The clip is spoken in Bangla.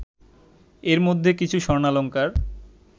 এর মধ্যে কিছু স্বর্ণালঙ্কার